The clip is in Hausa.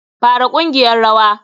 Fara ƙungiyar rawa.